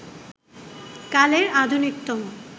কালের আধুনিকতম